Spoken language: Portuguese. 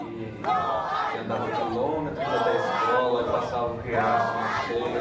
e e andava quilômetros até a escola e passava o riacho na cheia.